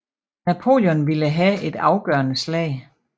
Napoleon ville have et afgørende slag